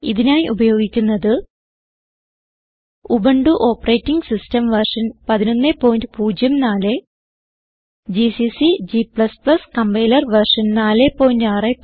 ഇതിനായി ഉപയോഗിക്കുന്നത് Ubuntu operating system version 1104 GCC g compiler version 461